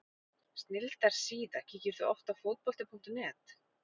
Snilldar síða Kíkir þú oft á Fótbolti.net?